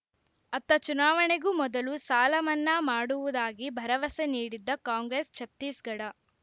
ಅತ್ತ ಚುನಾವಣೆಗೂ ಮೊದಲು ಸಾಲ ಮನ್ನಾ ಮಾಡುವುದಾಗಿ ಭರವಸೆ ನೀಡಿದ್ದ ಕಾಂಗ್ರೆಸ್‌ ಛತ್ತೀಸ್‌ಗಢ